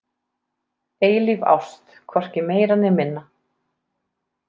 Eilíf ást, hvorki meira né minna.